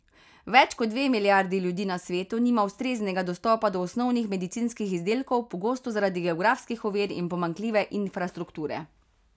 Več kot dve milijardi ljudi na svetu nima ustreznega dostopa do osnovnih medicinskih izdelkov, pogosto zaradi geografskih ovir in pomanjkljive infrastrukture.